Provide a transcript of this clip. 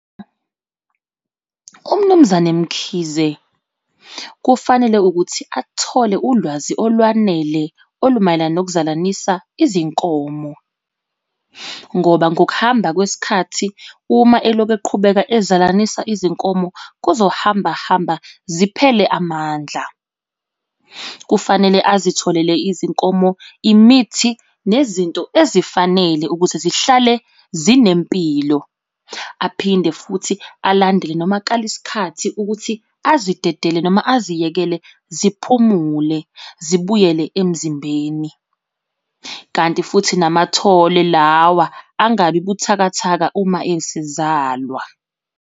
UMnumzane Mkhize kufanele ukuthi athole ulwazi olwanele olumayelana nokuzalanisa izinkomo ngoba ngokuhamba kwesikhathi uma eloku eqhubeka ezalanisa izinkomo kuzohamba hamba ziphele amandla. Kufanele azitholele izinkomo imithi nezinto ezifanele ukuthi zihlale zinempilo. Aphinde futhi alandele noma akale isikhathi ukuthi azidedele noma aziyekele ziphumule zibuyele emzimbeni. Kanti futhi namathole lawa angabi buthakathaka uma esezalwa.